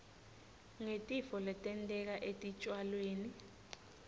ngetitfo letenteka etitjalweni